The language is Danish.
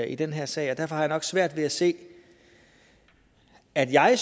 i den her sag derfor har jeg nok svært ved at se at jeg